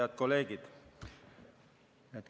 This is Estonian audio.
Head kolleegid!